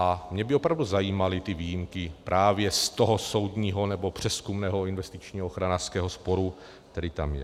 A mě by opravdu zajímaly ty výjimky právě z toho soudního nebo přezkumného investičního ochranářského sporu, který tam je.